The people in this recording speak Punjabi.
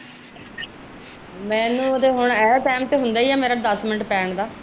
ਮੈਨੂੰ ਓਦੇ ਹੁਣ ਇਹ ਤੇ ਹੁੰਦਾ ਹੀ ਹੈ ਦੱਸ ਮਿਨ ਪੈਣ ਦਾ